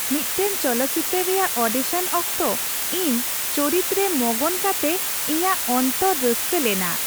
ᱢᱤᱫᱴᱟᱝ ᱪᱚᱞᱚᱛᱪᱤᱛᱟᱹᱨ ᱨᱮᱭᱟᱜ ᱚᱰᱤᱥᱚᱱ ᱚᱠᱛᱚ ᱤᱧ ᱪᱚᱨᱤᱛᱨᱮ ᱢᱚᱜᱚᱱ ᱠᱟᱛᱮ ᱤᱧᱟᱜ ᱚᱱᱛᱚᱨ ᱨᱟᱹᱥᱠᱟᱹ ᱞᱮᱱᱟ ᱾